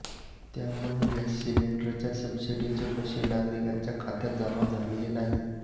त्यामुळे गॅस सिलिंडरच्या सबसिडीचे पैसे नागरिकांच्या खात्यात जमा झालेले नाहीत